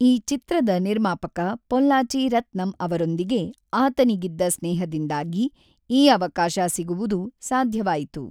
ಈ ಚಿತ್ರದ ನಿರ್ಮಾಪಕ ಪೊಲ್ಲಾಚಿ ರತ್ನಂ ಅವರೊಂದಿಗೆ ಆತನಿಗಿದ್ದ ಸ್ನೇಹದಿಂದಾಗಿ ಈ ಅವಕಾಶ ಸಿಗುವುದು ಸಾಧ್ಯವಾಯಿತು.